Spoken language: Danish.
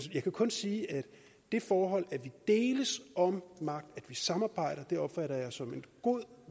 jeg kan kun sige at det forhold at vi deles om magt at vi samarbejder opfatter jeg som en god